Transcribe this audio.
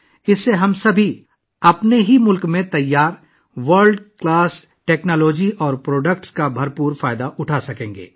اس کے ساتھ ہی ہم اپنے ملک میں تیار کردہ عالمی معیار کی ٹیکنالوجی اور مصنوعات سے بھرپور فائدہ اٹھا سکیں گے